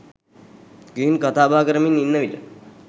ගිහින් කතාබහ කරමින් ඉන්න විට